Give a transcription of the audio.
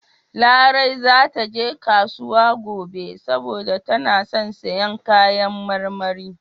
Larai za ta je kasuwa gobe saboda tana son siyan kayan marmari.